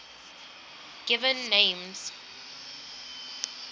given names